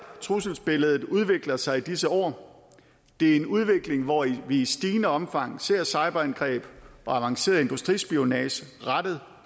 trusselsbilledet udvikler sig i disse år det er en udvikling hvor vi i stigende omfang ser cyberangreb og avanceret industrispionage rettet